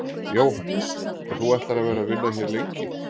Jóhannes: Og þú ætlar að vera að vinna hér lengi?